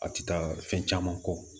A ti taa fɛn caman kɔ